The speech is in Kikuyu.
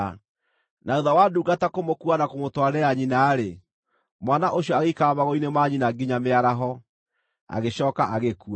Na thuutha wa ndungata kũmũkuua na kũmũtwarĩra nyina-rĩ, mwana ũcio agĩikara magũrũ-inĩ ma nyina nginya mĩaraho, agĩcooka agĩkua.